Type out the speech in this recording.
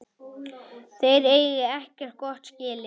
Þeir eigi ekkert gott skilið.